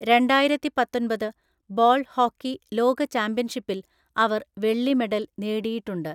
രണ്ടായിരത്തിപത്തൊന്‍പത് ball hockey ലോക ചാമ്പ്യൻഷിപ്പിൽ അവർ വെള്ളി മെഡൽ നേടിയിട്ടുണ്ട്.